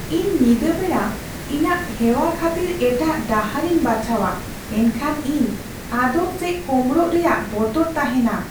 ᱤᱧ ᱧᱤᱫᱟᱹ ᱵᱮᱲᱟ ᱤᱧᱟᱹᱜ ᱦᱮᱣᱟ ᱠᱷᱟᱹᱛᱤᱨ ᱮᱴᱟᱜ ᱰᱟᱦᱟᱨᱤᱧ ᱵᱟᱪᱷᱟᱣᱟ ᱮᱱᱠᱷᱟᱱ ᱤᱧ ᱟᱫᱚᱜ ᱥᱮ ᱠᱳᱢᱲᱳᱜ ᱨᱮᱭᱟᱜ ᱵᱚᱛᱚᱨ ᱛᱟᱦᱮᱱᱟ ᱾